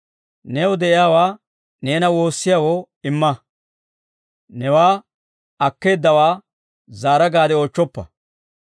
«New de'iyaawaa neena woossiyaawoo, imma; newaa akkeeddawaa, zaara gaade oochchoppa.